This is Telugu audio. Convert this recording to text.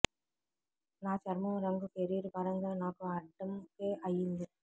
నా చర్మం రంగు కెరీర్ పరంగా నాకు అడ్డంకే అయ్యింది